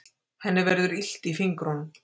Henni verður illt í fingrunum.